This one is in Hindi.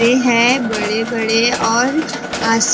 है बड़े बड़े और आस --